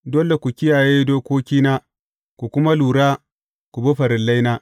Dole ku kiyaye dokokina kuma ku lura ku bi farillaina.